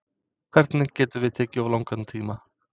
Hvernig getum við tekið of langan tíma?